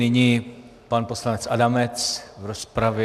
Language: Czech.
Nyní pan poslanec Adamec v rozpravě.